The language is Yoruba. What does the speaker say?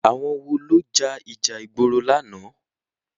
Àwọn wo ló ja ìjà ìgboro lánàá?